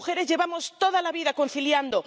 Las mujeres llevamos toda la vida conciliando.